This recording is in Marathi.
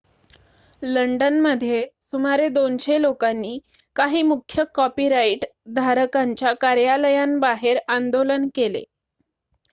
लंडनमध्ये सुमारे २०० लोकांनी काही मुख्य कॉपीराइट धारकांच्या कार्यालयांबाहेर आंदोलन केले